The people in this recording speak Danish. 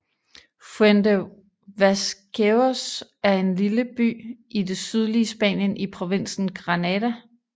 Fuente Vaqueros er en by i det sydlige Spanien i provinsen Granada